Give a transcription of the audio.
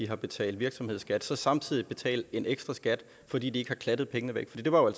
har betalt virksomhedsskat samtidig betale en ekstraskat fordi de ikke har klattet pengene væk for det var